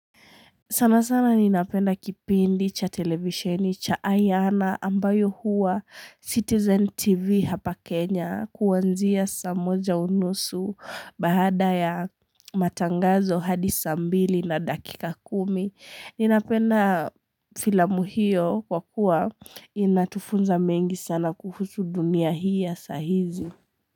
Sana sana ninapenda kipindi cha televisheni cha Ayana ambayo huwa Citizen TV hapa Kenya kuanzia saa moja unusu baada ya matangazo hadi saa mbili na dakika kumi. Ninapenda filamu hiyo kwa kuwa inatufunza mengi sana kuhusu dunia hii ya sahizi.